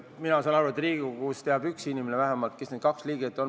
Mina saan aru, et Riigikogus teab vähemalt üks inimene, kes need kaks liiget on.